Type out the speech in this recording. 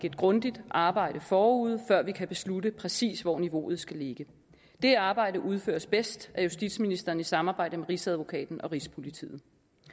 et grundigt arbejde forud før vi kan beslutte præcis hvor niveauet skal ligge det arbejde udføres bedst af justitsministeren i samarbejde med rigsadvokaten og rigspolitiet